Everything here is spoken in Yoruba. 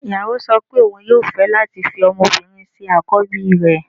Ìyàwó sọ pé òun yóò fẹ́ láti fi ọmọbìnrin ṣe àkọ́bí rẹ̀